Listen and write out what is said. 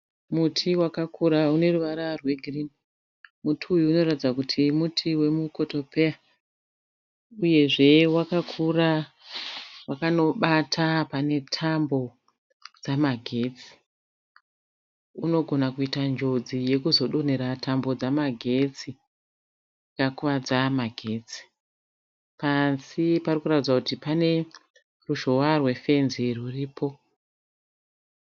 Muti wakakura une ruvara rwegirini . Muti uyu unoratidza kuti muti wemukotopeya uyezve wakakura wakanobata pane tambo dzamagetsi . Unogona kuita njodzi yekuzodonhera tambo dzemagetsi ukakuvadza magetsi. Pasi pakuratidza kuti pane ruzhowa rwefenzi ruripo